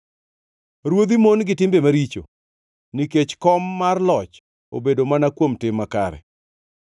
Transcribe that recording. Ruodhi mon gi timbe maricho, nikech kom mar loch obedo mana kuom tim makare.